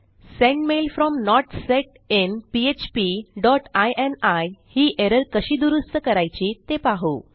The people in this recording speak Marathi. send mail from not set in PHP dot ini ही एरर कशी दुरूस्त करायची ते पाहू